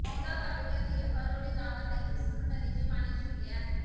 मौदा तालुक्यातील अरोली गावातही सूर नदीचे पाणी शिरले आहे